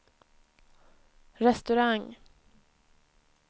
restaurang